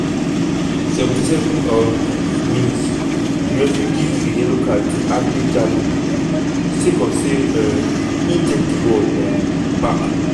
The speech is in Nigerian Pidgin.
77 um mins - di referee give a yellow card to ablie jallow sake of say um im take di ball um back.